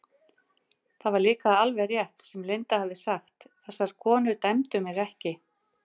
Það var líka alveg rétt sem Linda hafði sagt, þessar konur dæmdu mig ekki.